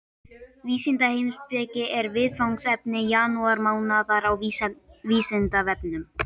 Vísindaheimspeki er viðfangsefni janúarmánaðar á Vísindavefnum.